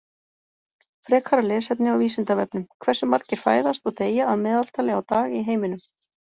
Frekara lesefni á Vísindavefnum Hversu margir fæðast og deyja að meðaltali á dag í heiminum?